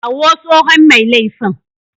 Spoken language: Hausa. Kawo tsohon mai laifin.